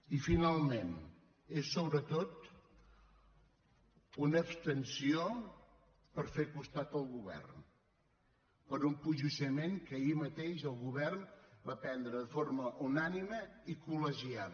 i finalment és sobretot una abstenció per fer costat al govern per un posicionament que ahir mateix el govern va prendre de forma unànime i col·legiada